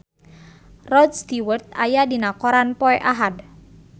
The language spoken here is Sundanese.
Rod Stewart aya dina koran poe Ahad